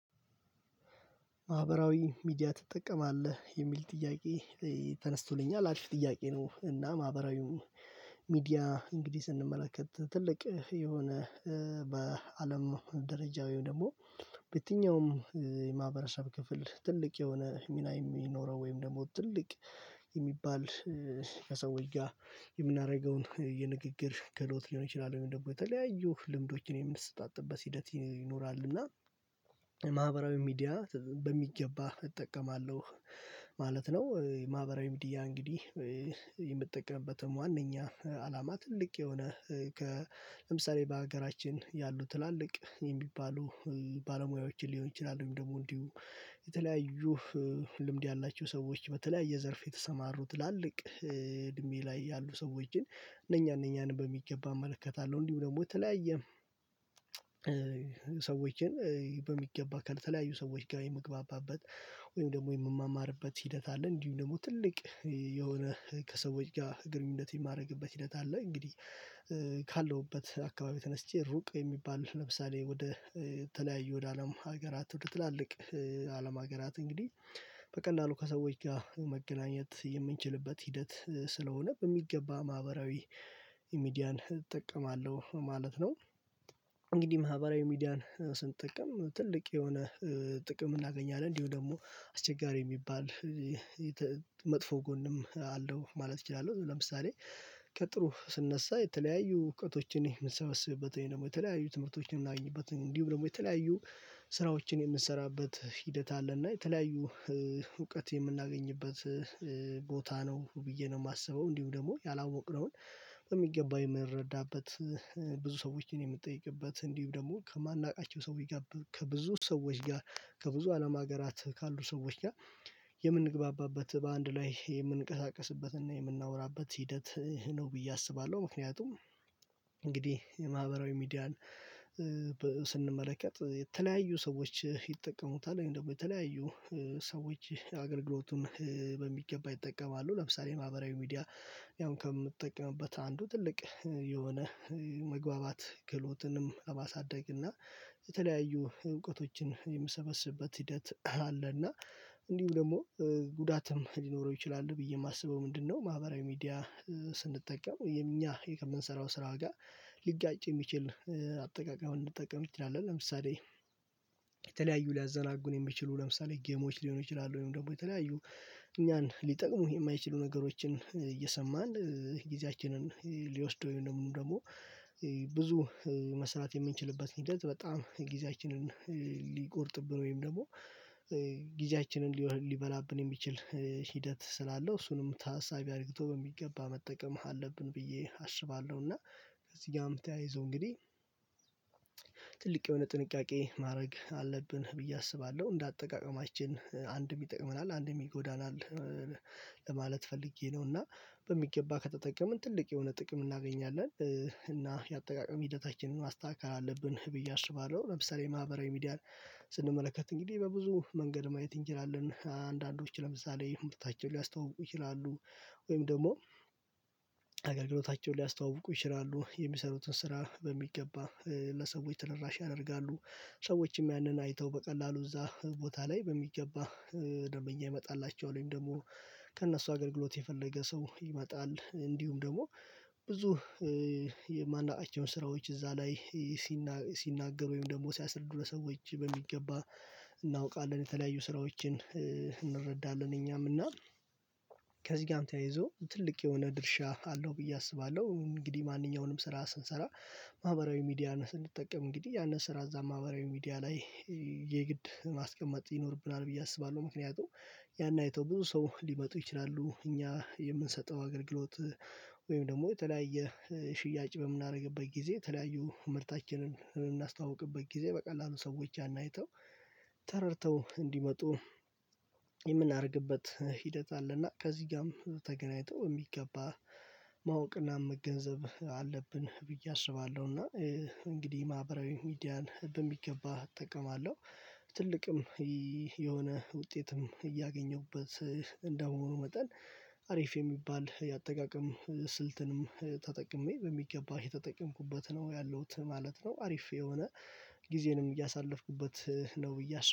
ማህበራዊ ሚዲያ ትጠቀማለህ የሚል ጥያቄ ተነስቶልኛል አሪፍ ጥያቄ ነው? እና ማህበራዊው ሚዲያ እንግዲህ ስንመለከት ትልቅ የሆነ በአለም ደረጃው ደግሞ በየትኛውም የማህበረሰብ ክፍል ትልቅ የሆነ ሚና የሚኖረው ወይም ደግሞ ትልቅ የሚባል ከሰዎች ጋር የምናደርገውን የንግግር ክህሎት ሊሆን ይችላል ወይ ደግሞ የተለያዩ ልምዶችን የምንሰጣጥበት ሂደት ይኖራል እና ማህበራዊ ሚዲያ በሚገባ እጠቀማለሁ ማለት ነው። ማህበራዊ ሚድያ እንግዲህ የምጠቀምበትም ዋናኛ አላማ ትልቅ የሆነ ከለምሳሌ በሀገራችን ያሉ ትላልቅ የሚባሉ ባለሙያዎችን ሊሆን ይችላሉኝ ደግሞ እንዲሁ የተለያዩ ልምድ ያላቸው ሰዎች በተለያየ ዘርፍ የተሰማሩ ትላልቅ እድሜ ላይ ያሉ ሰዎች እነኛ እነኛን በሚገባ እመለከታለሁ እንዲሁ ደግሞ የተለያየ ሰዎችን በሚገባ ከተለያዩ ሰዎች ጋር የምግባባበት ወይም ደግሞ የምማማርበት ሂደት አለ። እንዲሁ ደግሞ ትልቅ የሆነ ከሰዎች ጋር ግንኙነት የማረግበት ሂደት አለ። እንግዲህ ካለሁበት አካባቢ ተነስቼ ሩቅ የሚባል ለምሳሌ ወደ ተለያዩ ወደ አለም ሀገራት ወደ ትላልቅ አለም ሀገራት እንግዲህ በቀላሉ ከሰዎች ጋር መገናኘት የምንችልበት ሂደት ስለሆነ በሚገባ ማህበራዊ ሚዲያን እጠቀማለሁ ማለት ነው። እንግዲህ ማህበራዊ ሚዲያን ስንጠቀም ትልቅ የሆነ ጥቅም እናገኛለን እንዲሁ ደግሞ አስቸጋሪ የሚባል መጥፎ ጎንም አለው ማለት እችላለሁ። ለምሳሌ ከጥሩ ስነሳ የተለያዩ እውቀቶችን የምንሰበስብበት ወይንም የተለያዩ ትምህርቶችን እምናገኝበት እንዲሁ ደግሞ የተለያዩ ስራዎችን የምንሰራበት ሂደት አለ እና የተለያዩ እውቀት የምናገኝበት ቦታ ነው። ብዬ ነው የማስበው እንዲሁ ደግሞ ያላወቅነውን በሚገባው የምንረዳበት ብዙ ሰዎችን የምጠይቅበት እንዲህ ደግሞ ከማናውቃቸው ሰው ይጋብብ ከብዙ ሰዎች ጋር ከብዙ አለም ሀገራት ካሉ ሰዎች ጋር የምንግባባበት በአንድ ላይ የምንቀሳቀስበትና የምናወራበት ሂደት ነው ብዬ አስባለሁ። ምክንያቱም እንግዲህ የማህበራዊ ሚዲያን የተለያዩ ሰዎች ይጠቀሙታል ወይም ደግሞ የተለያዩ ሰዎች አገልግሎቱን በሚገባ ይጠቀማሉ ለምሳሌ ማህበራዊ ሚዲያ ያውም ከምትጠቀምበት አንዱ ትልቅ የሆነ መግባባት ክህሎትንም ለማሳደግና የተለያዩ እውቀቶችን የምሰበስብበት ሂደት አለ። እና እንዲሁ ደግሞ ጉዳትም ሊኖረው ይችላል ብዬ የማስበው ምንድነው ማህበራዊ ሚዲያ ስንጠቀም የኛ የከምንሰራው ስራ ጋር ሊጋጭ የሚችል አጠቃቀም እንጠቀም እንችላለን። ለምሳሌ የተለያዩ ሊያዘናጉን የሚችሉ ለምሳሌ ጌሞች ሊሆኑ ይችላሉ ወይም ደግሞ የተለያዩ እኛን ሊጠቅሙህ የማይችሉ ነገሮችን እየሰማን ጊዜያችንን ሊወስደው ወይም ደግሞ ብዙ መስራት የምንችልበት ሂደት በጣም ጊዜያችንን ሊቆርጥብን ወይም ደግሞ ጊዜያችንን ሊሆን ሊበላብን የሚችል ሂደት ስላለው እሱንም ታሳቢ አርግቶ በሚገባ መጠቀም አለብን ብዬ አስባለሁ። እና ከዚህ ጋም ተያይዞ እንግዲህ ትልቅ የሆነ ጥንቃቄ ማድረግ አለብን ብዬ አስባለሁ። እንደ አጠቃቀማችን አንድም ይጠቅመናል አንድም ይጎዳናል ለማለት ፈልጌ ነው። እና በሚገባ ከተጠቀምን ትልቅ የሆነ ጥቅም እናገኛለን እና የአጠቃቀም ሂደታችንን ማስታከል አለብን ብዬ አስባለሁ። ለምሳሌ ማህበራዊ ስንመለከት እንግዲህ በብዙ መንገድ ማየት እንችላለን አንዳንዶች ለምሳሌ ምርታቸውን ሊያስተዋውቁ ይችላሉ ወይም ደግሞ አገልግሎታቸውን ሊያስተዋውቁ ይችላሉ የሚሰሩትን ስራ በሚገባ ለሰዎች ትደራሽ ያደርጋሉ ሰዎችም ያንን አይተው በቀላሉ እዛ ቦታ ላይ በሚገባ ደንበኛ ይመጣላቸዋል ወይም ደግሞ ከእነሱ አገልግሎት የፈለገ ሰው ይመጣል እንዲሁም ደግሞ ብዙ የማናቃቸውን ስራዎች እዛ ላይ ሲናገር ወይም ደግሞ ሲያስርዱ ለሰዎች በሚገባ እናውቃለን የተለያዩ ስራዎችን እንረዳለን እኛም እና ከዚህ ጋርም ተያይዞ ትልቅ የሆነ ድርሻ አለው ብዬ አስባለሁ። እንግዲህ ማንኛውንም ስራ ስንሰራ ማህበራዊ ሚዲያ ስንጠቀም እንግዲህ ያንን ስራ እዛ ማህበራዊ ሚዲያ ላይ የግድ ማስቀመጥ ይኖርብናል ብዬ አስባለሁ። ምክንያቱም ያን አይተው ብዙ ሰው ሊመጡ ይችላሉ እኛ የምንሰጠው አገልግሎት ወይም ደግሞ የተለያየ ሽያጭ በምናደርግበት ጊዜ ተለያዩ ምርታችንን በምናስተዋውቅበት ጊዜ በቀላሉ ሰዎች ያን አይተው ተረድተው እንዲመጡ የምናደርግበት ሂደት አለና ከዚህ ጋም ተገናኝቶ የሚገባ ማወቅና መገንዘብ አለብን ብዬ አስባለሁ። እና እንግዲህ ማህበራዊ ሚዲያን በሚገባ እጠቀማለሁ ትልቅም የሆነ ውጤትም እያገኘሁበት እንደመሆኑ መጠን አሪፍ የሚባል የአጠቃቀም ስልትንም ተጠቅሜ በሚገባ እየተጠቀምኩበት ነው ያለሁት ማለት ነው። አሪፍ የሆነ ጊዜንም እያሳለፍኩበት ነው ብዬ